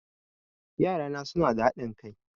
Yarana suna da haɗin kai